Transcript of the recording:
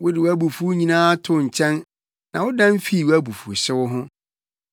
Wode wʼabufuw nyinaa too nkyɛn na wodan fii wʼabufuwhyew ho.